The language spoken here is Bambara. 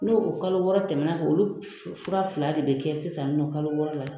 No o kalo wɔɔrɔ tɛmɛ na olu fura fila de bɛ kɛ sisan nɔ kalo wɔɔrɔ la.